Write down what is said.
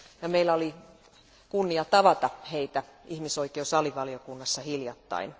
Meillä oli kunnia tavata heitä ihmisoikeusalivaliokunnassa hiljattain.